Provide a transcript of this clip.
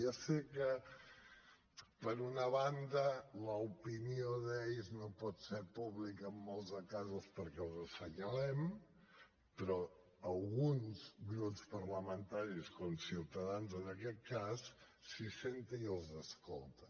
ja sé que per una banda l’opinió d’ells no pot ser pública en molts de casos perquè els assenyalem però alguns grups parlamentaris com ciutadans en aquest cas s’hi asseuen i els escolten